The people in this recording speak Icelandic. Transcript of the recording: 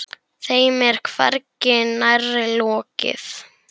Þeim er hvergi nærri lokið.